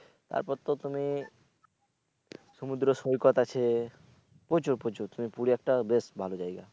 তারপর তো তুমি সমুদ্র সৈকত আছে প্রচুর প্রচুর তুমি পুরি একটা বেশ ভালো জায়গা।